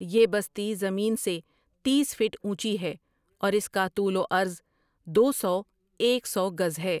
یہ بستی زمین سے تیس فٹ اونچی ہے اور اس کا طول و عرض دو سو ایک سو گز ہے ۔